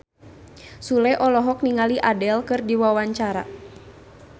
Sule olohok ningali Adele keur diwawancara